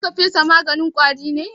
Za ka fesa maganin ƙwari ne?